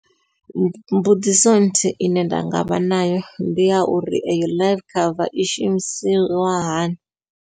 Mbudziso nthihi ine nda ngavha nayo ndi ya uri eyo life cover i shumisiwa hani.